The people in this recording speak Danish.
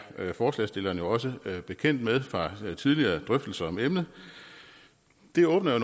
forslagsstillerne også bekendt med fra tidligere drøftelser om emnet det åbner